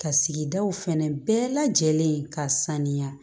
Ka sigidaw fɛnɛ bɛɛ lajɛlen ka saniya